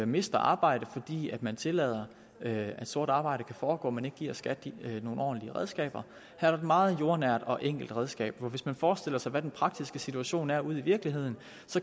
mister arbejdet fordi man tillader at sort arbejde kan foregå men ikke giver skat nogle ordentlige redskaber her er et meget jordnært og enkelt redskab hvis man forestiller sig den praktiske situation ude i virkeligheden